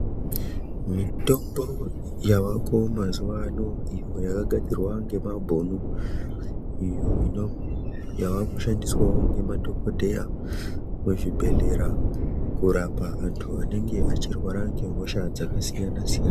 Mitombo yavako mazuwa ano iyo yakagadzirwa nemabhunu iyo yaakushandiswawo ngemadhokodheya muzvibhehlera kurapa anhu anenge echirwara ngehosha dzakasiyansiyana.